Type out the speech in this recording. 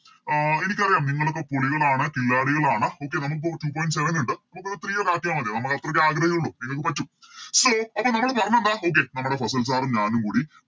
ആഹ് എനിക്കറിയാം നിങ്ങളൊക്കെ പുലികളാണ് കില്ലാഡികളാണ് Okay നമുക്കിപ്പൊ Two point seven ഉണ്ട് നമുക്കത് Three ഒന്ന് ആക്കിയ മതി നമുക്കത്രയൊക്കെ ആഗ്രഹേ ഉള്ളു നിങ്ങക്ക് പറ്റും so അപ്പൊ നമ്മള് പറഞ്ഞതെന്താ Okay നമ്മുടെ ഫസിൽ Sir ഉം ഞാനും കൂടി